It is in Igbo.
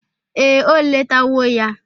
Ee, o letawo ya.